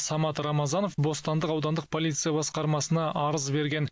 самат рамазанов бостандық аудандық полиция басқармасына арыз берген